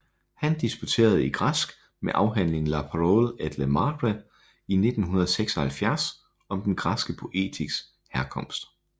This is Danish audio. Han disputerede i græsk med afhandlingen La parole et le marbre i 1976 om den græske poetiks herkomst